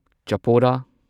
ꯆꯄꯣꯔꯥ